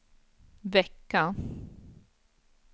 vecka